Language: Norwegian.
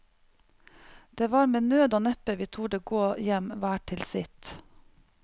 Det var med nød og neppe vi torde gå hjem hver til sitt.